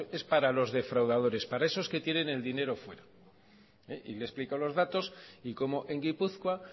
es para los defraudadores para esos que tienen el dinero fuera y le he explicado los datos y como en gipuzkoa